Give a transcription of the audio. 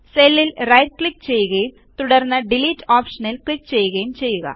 സെല്ലിൽ right click ചെയ്യുകയും തുടർന്ന് ഡിലീറ്റ് ഓപ്ഷനിൽ ക്ലിക്ക് ചെയ്യുകയും ചെയ്യുക